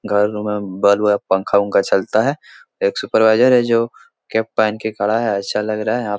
घर में बल्ब अ पंखा-उंखा चलता है एक सुपरवाइजर है जो कैप पहन के खड़ा है अच्छा लग रहा है आप --